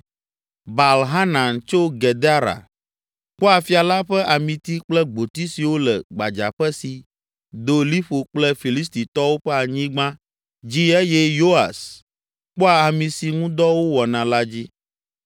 Baal Hanan tso Gedera kpɔa fia la ƒe amiti kple gboti siwo le gbadzaƒe si do liƒo kple Filistitɔwo ƒe anyigba dzi eye Yoas kpɔa ami si ŋu dɔ wowɔna la dzi.